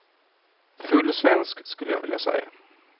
Full svensk, skulle jag vilja säga.